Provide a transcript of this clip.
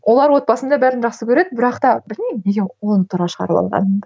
олар отбасында бәрін жақсы көреді бірақ та білмеймін неге туралы шығарып алғанымды